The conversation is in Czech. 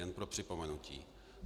Jen pro připomenutí.